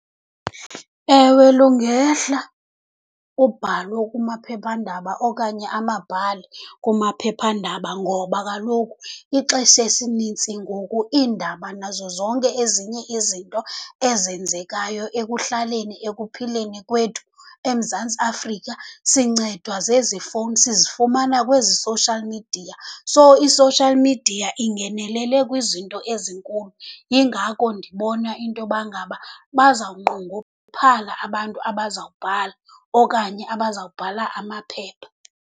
Ewe, lungehla ubhalo kumaphephandaba okanye amabhali kumaphephandaba ngoba kaloku ixesha esinintsi ngoku, iindaba nazo zonke ezinye izinto ezenzekayo ekuhlaleni, ekuphileni kwethu eMzantsi Afrika sincedwa zezi fowuni, sizifumana kwezi social media. So, i-social media ingenelele kwizinto ezinkulu, yingakho ndibona intoba ngaba bazawunqongophala abantu abazawubhala okanye abazawubhala amaphepha.